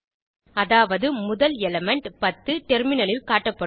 அதாவது முதல் எலிமெண்ட் 10 டெர்மினலில் காட்டப்படும்